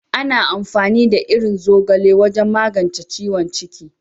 Ana amfani da irin zogale wajen magance ciwon ciki.